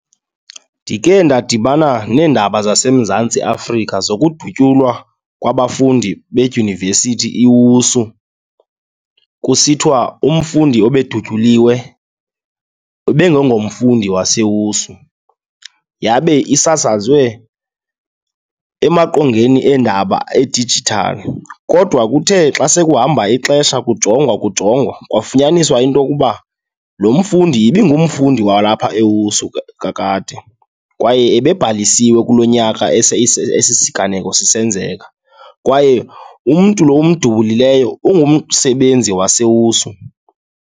Ndike ndadibana neendaba zaseMzantsi Afrika zokudutyulwa kwabafundi bedyunivesithi iWSU. Kusithiwa umfundi obedutyuliwe ibibengeyingomfundi waseWSU, yabe isasazwe emaqongeni endaba edijithali. Kodwa kuthe xa sekuhamba ixesha kujongwa kujongwa kwafunyaniswa into yokuba lo mfundi ibingumfundi walapha eWSU kakade kwaye ebebhalisiwe kulo nyaka esi siganeko sisenzeka kwaye umntu lo umdubulileyo, ungumsebenzi waseWSU.